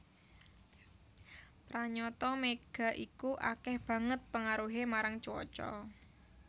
Pranyata mega iku akéh banget pengaruhé marang cuaca